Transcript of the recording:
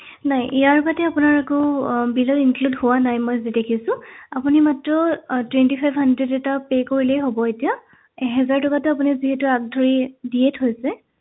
নাই ইয়াৰ বাদে আপোনাৰ একো আহ bill ত include হোৱা নাই মই যি দেখিছো আপুনি মাত্ৰ আহ twenty five hundred এটা pay কৰিলেই হব এতিয়া এহেজাৰ টকাটো আপুনি যিহেতু আগধৰি দিয়ে থৈছে